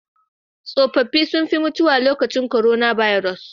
Tsofafi sun fi mutuwa lokacin korona baros.